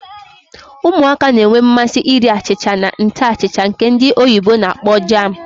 Ụmụaka na-enwe mmasị ịrị achịcha na nte achịcha nke ndi oyibo na-akpọ jam.